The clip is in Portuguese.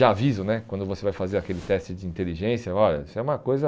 Já aviso né, quando você vai fazer aquele teste de inteligência, olha, isso é uma coisa...